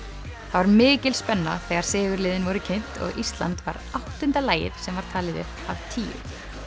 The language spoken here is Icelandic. það var mikil spenna þegar sigurliðin voru kynnt og Ísland var áttunda lagið sem var talið upp af tíu